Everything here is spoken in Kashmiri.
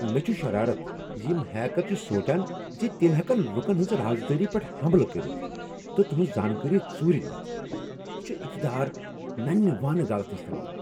مےٚ چھ شرارت ز یم ہیکر چھ سوچان ز تم ہیکن لکن ہنز راز دٲری پیٹھ حملہٕ کٔرتھ تہٕ تہنز زانٛکٲری ژورِ نِتھ۔ یہ چھ اقتدارک ننہ وانہ غلط استعمال۔